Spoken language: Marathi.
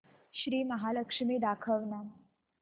श्री महालक्ष्मी दाखव ना